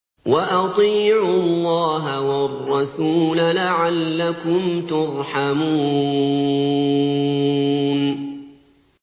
وَأَطِيعُوا اللَّهَ وَالرَّسُولَ لَعَلَّكُمْ تُرْحَمُونَ